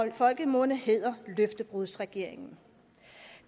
i folkemunde hedder løftebrudsregeringen